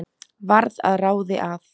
Varð að ráði að